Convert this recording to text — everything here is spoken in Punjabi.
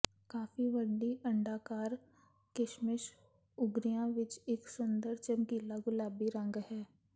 ਕਾਫ਼ੀ ਵੱਡੀ ਅੰਡਾਕਾਰ ਕਿਸ਼ਮਿਸ਼ ਉਗਰੀਆਂ ਵਿੱਚ ਇੱਕ ਸੁੰਦਰ ਚਮਕੀਲਾ ਗੁਲਾਬੀ ਰੰਗ ਹੈ